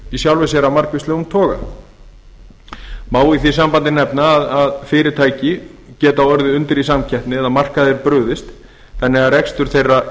í sjálfu sér verið af margvíslegum toga má í því sambandi nefna að fyrirtæki geta orðið undir í samkeppni eða markaðir brugðist þannig að rekstur þeirra